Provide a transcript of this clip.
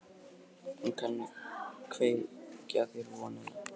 Hún kann að kveikja þér vonina.